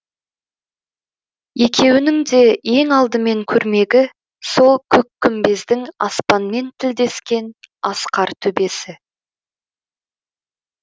екеуінің де ең алдымен көрмегі сол көккүмбездің аспанмен тілдескен асқар төбесі